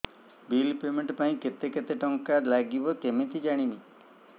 bill payment ପାଇଁ କେତେ କେତେ ଟଙ୍କା ଲାଗିବ କେମିତି ଜାଣିବି